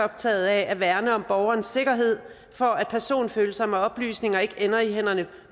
optaget af at værne om borgernes sikkerhed for at personfølsomme oplysninger ikke ender i hænderne